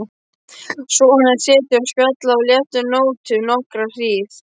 Svona er setið og spjallað á léttum nótum nokkra hríð.